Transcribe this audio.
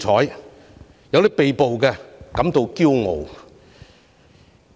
是誰說因被補而感到驕傲？